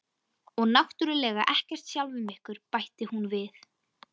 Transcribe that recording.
Og náttúrlega ekkert sjálfum ykkur, bætti hún við.